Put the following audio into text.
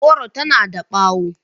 Goro tana da bawo.